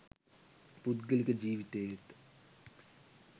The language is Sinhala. පුද්ගලික ජීවිතයේත්